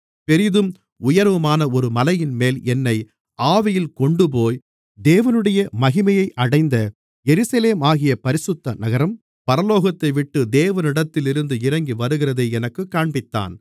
பெரிதும் உயரமுமான ஒரு மலையின்மேல் என்னை ஆவியில் கொண்டுபோய் தேவனுடைய மகிமையை அடைந்த எருசலேமாகிய பரிசுத்த நகரம் பரலோகத்தைவிட்டு தேவனிடத்திலிருந்து இறங்கிவருகிறதை எனக்குக் காண்பித்தான்